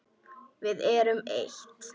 Við erum eitt.